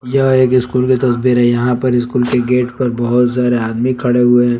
यह एक स्कूल की तस्वीर है यहां पर स्कूल के गेट पर बहुत सारे आदमी खड़े हुए हैं।